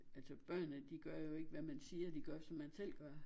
Altså børnene de gør jo ikke hvad man siger de gør hvad man selv gør